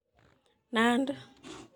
Nandi